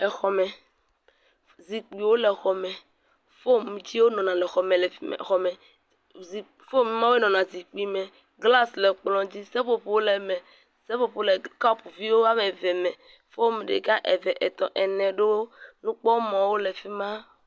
Exɔ me, zikpuiwo le exɔ me, fom yi dzi wonɔna le exɔ me fi , glas le exɔ me, fom ma wonɔna zikpui me, glas le kplɔ dzi, seƒoƒo le me, seƒoƒowo le kɔpvi woame eveme, fom ɖeka, eve, etɔ̃, ene, nukpɔmɔwo le fi ma.